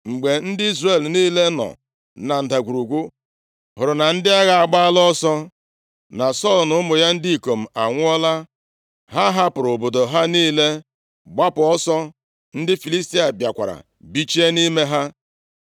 Mgbe ndị Izrel niile nọ na ndagwurugwu hụrụ na ndị agha agbaala ọsọ, na Sọl na ụmụ ya ndị ikom anwụọla, ha hapụrụ obodo ha niile gbapụ ọsọ. Ndị Filistia bịakwara bichie nʼime ha.